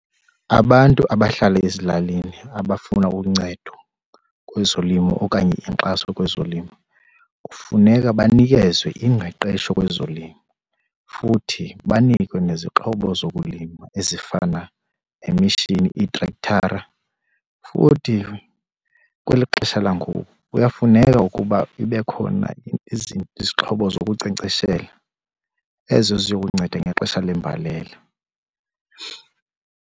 Abantu abahlala ezilalini abafuna uncedo kwezolimo okanye inkxaso kwezolimo kufuneka banikezwe ingqeqesho kwezolimo. Futhi banikwe nezixhobo zokulima ezifana nemishini, iitrekthara. Futhi kweli xesha langoku kuyafuneka ukuba ibe khona izixhobo zokunkcenkceshela ezo ziyokunceda ngexesha lembalela.